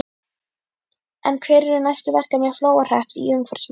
En hver eru næstu verkefni Flóahrepps í umhverfismálum?